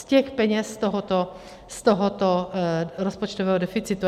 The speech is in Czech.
Z těch peněz z tohoto rozpočtového deficitu.